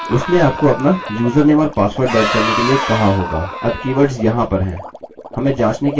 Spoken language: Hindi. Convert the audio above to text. संभवतः आपने वेबसाइट में पहले भी लॉगिन किया होगा और उसने आपको अपना यूजरनेम और पासवर्ड दर्ज करने के लिए कहा होगा अब कीवर्ड्स वहाँ पर हैं